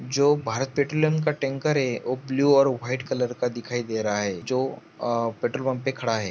जो भारत पेट्रोलियम का टैंकर है वो ब्लू और व्हाइट कलर का दिखाई दे रहा है जो अ पेट्रोल पम्प पे खड़ा है।